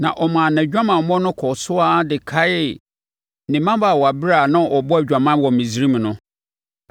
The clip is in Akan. Na ɔmaa nʼadwamammɔ no kɔɔ so ara de kaee ne mmabaawaberɛ a na ɔbɔ adwaman wɔ Misraim no.